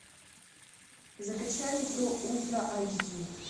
закачай метро ультра айч ди